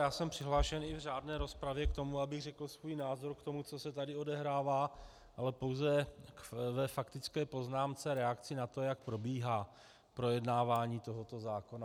Já jsem přihlášen i v řádné rozpravě k tomu, abych řekl svůj názor k tomu, co se tady odehrává, ale pouze ve faktické poznámce reakci na to, jak probíhá projednávání tohoto zákona.